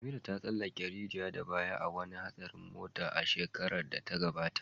Amira ta tsallake rijiya da baya a wani hatsarin mota a shekarar da ta gabata.